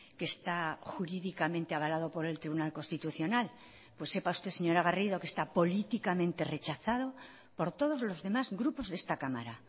que está jurídicamente avalado por el tribunal constitucional pues sepa usted señora garrido que está políticamente rechazado por todos los demás grupos de esta cámara